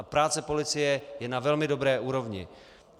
A práce policie je na velmi dobré úrovni.